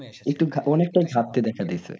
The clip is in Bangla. অনেকটাই ঘাটতি দেখা দিয়েছে।